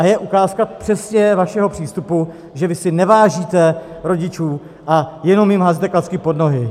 A je ukázka přesně vašeho přístupu, že vy si nevážíte rodičů a jenom jim házíte klacky pod nohy.